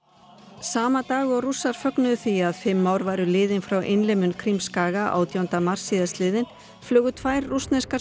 sama dag og Rússar fögnuðu því að fimm ár væru liðin frá Krímskaga átjánda mars síðastliðinn flugu tvær rússneskar